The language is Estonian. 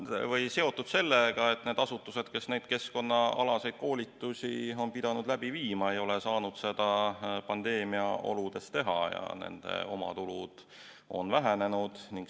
Eks see on seotud sellega, et need asutused, kes neid keskkonnaalaseid koolitusi on pidanud läbi viima, ei ole saanud seda pandeemiaoludes teha ja nende omatulud on vähenenud.